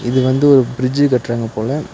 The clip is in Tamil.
இது வந்து ஒரு பிரிட்ஜி கட்றாங்க போல.